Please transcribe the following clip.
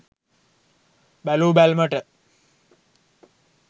බැලූ බැල්මට,